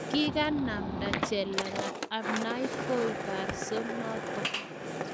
Kikanamnda chelagat ainabkoi barso notok